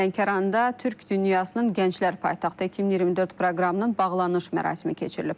Lənkəranda Türk dünyasının Gənclər Paytaxtı 2024 proqramının bağlanış mərasimi keçirilib.